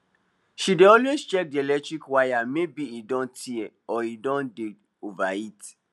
she dey always check di electric wire maybe e don tear or e don dey overheat